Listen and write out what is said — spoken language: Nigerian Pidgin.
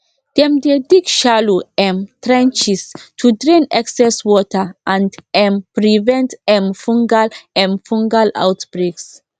dem dey dig shallow um trenches to drain excess water and um prevent um fungal um fungal outbreaks